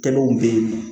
Kɛnɛw bɛ yen nɔ